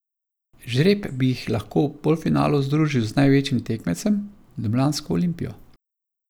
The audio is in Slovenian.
Žreb bi jih lahko v polfinalu združil z največjim tekmecem, ljubljansko Olimpijo.